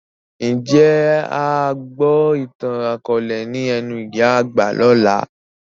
Ń jẹ́ a gbọ ìtàn akọ̀ọ̀lẹ ni ẹnu ìyá àgbà lọ́la?